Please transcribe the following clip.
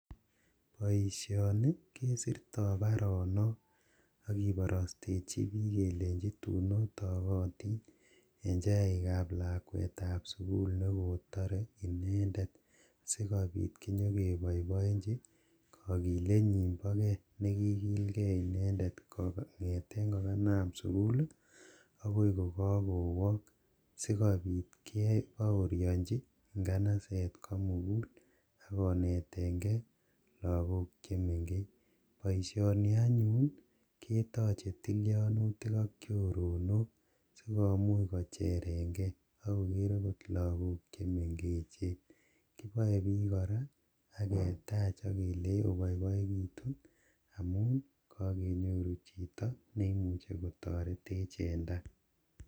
Boisioni kesirto baronok ak kibarastechi bik kelenji tun otogotin en chaikab lakwetab sugul ne kotare inendet si kobit konyekeboiboinji kogilenyin boge ne kiigilgei inendet kongeten ko kanam sugul ii agoi ko kagowong sogopit kebaorianji nganaset komugul ak konetenge lagok che mengech. Boisioni anyun ketoche tilianutik ak choronok si komuch kocherenge ak koger agot lagok che mengechen. Kipoe pik kora ak ketach ak kelei iboiboitun amun kagenyoru chito ne imuchi kotoretech en ta.